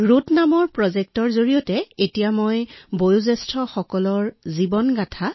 routes শীৰ্ষক এক বিশেষ প্ৰকল্পত মই তেওঁলোকৰ পৰিয়ালৰ জীৱন কাহিনীৰ ওপৰত তথ্য চিত্ৰও নিৰ্মাণ কৰিছো